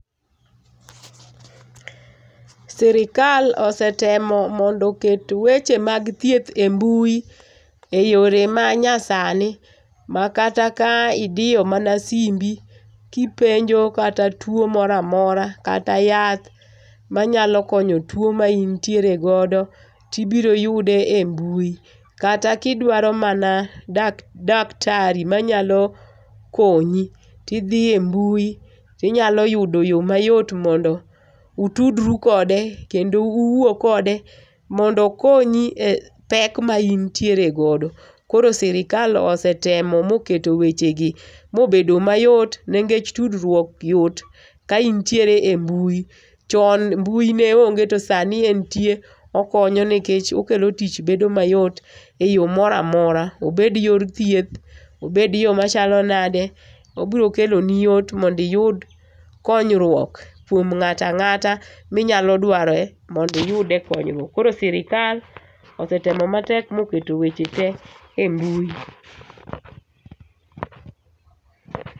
Sirkal osetemo mondo oket weche mag thieth e mbui eyore ma nyasani makata kaidiyo mana simbi kipenjo tuo moro amora, kata yath manyalo konyo tuo ma intiere godo tibiro yude e mbui. Kata ka idwaro mana daktari manyalo konyi to idhi e mbui to inyalo yudo yoo mayot mondo utudru kode kendo uwuo kode mondo okonyi e pek ma in tiere godo. Koro sirikal osetemo moketo wechegi mobedo mayot nikech tudruok yot ka intiere e mbui. Chon mbui ne nge to sani entie okonyo nikech okelo tich bedo mayot eyo moro amora obed yor thieth, obed yo machalo nade, obiro keloni yot mondo iyud konyuok kuom ng'ato ang'ata minyalo dware mondo iyude konyruok. Koro sirkal osetemo matek moketo weche tee e mbui